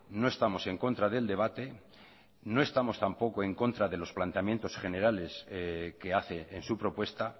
no estamos en contra del debate no estamos tampoco en contra de los planteamientos generales que hace en su propuesta